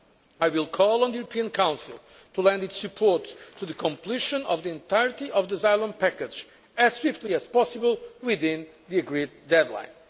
status. I will call on the European Council to lend its support to the completion of the entirety of the asylum package as quickly as possible within the agreed deadline.